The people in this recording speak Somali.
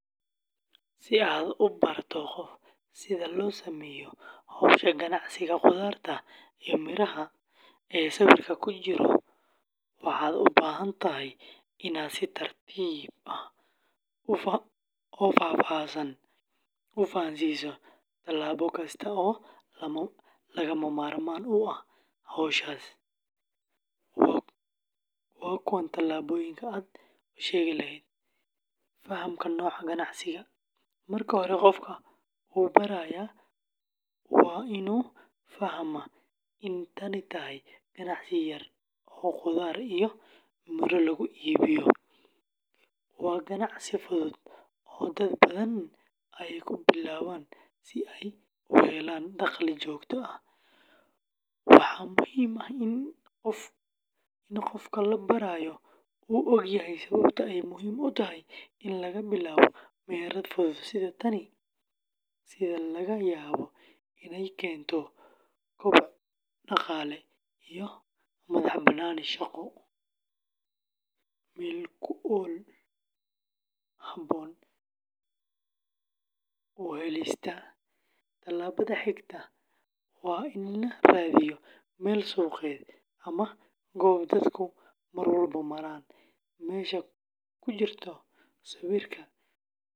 Si aad u barato qof sida loo sameeyo hawsha ganacsiga khudaarta iyo miraha ee sawirka ku jira, waxaad u baahan tahay inaad si tartiib ah oo faahfaahsan u fahamsiiso talaabo kasta oo lagama maarmaan u ah hawsha. Waa kuwan talaabooyinka aad u sheegi lahayd: Fahamka Nooca Ganacsiga: Marka hore qofka u baraya waa inuu fahmaa in tani tahay ganacsi yar oo khudaar iyo miro lagu iibiyo. Waa ganacsi fudud oo dad badan ay ku bilaabaan si ay u helaan dakhli joogto ah. Waxaa muhiim ah in qofka la barayo uu ogyahay sababta ay muhiim u tahay in laga bilaabo meherad fudud sida tan, sida laga yaabo inay keento koboc dhaqaale iyo madax-bannaani shaqo. Meel ku habboon u helista: Tallaabada xigta waa in la raadiyo meel suuqeed ama goob dadku mar walba maraan. Meesha ku jirta sawirka.